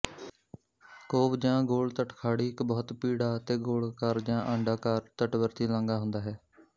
CoV ਜਾਂ ਗੋਲ ਤਟਖਾੜੀ ਇੱਕ ਬਹੁਤ ਭੀੜਾ ਅਤੇ ਗੋਲਾਕਾਰ ਜਾਂ ਅੰਡਾਕਾਰ ਤਟਵਰਤੀ ਲਾਂਘਾ ਹੁੰਦਾ ਹੈ